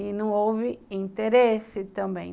E não houve interesse também.